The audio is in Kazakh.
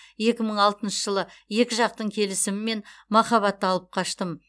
екі мың алтыншы жылы екі жақтың келісімімен махаббаты алып қаштым